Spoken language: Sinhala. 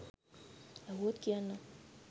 ඇහුවොත් කියන්නම්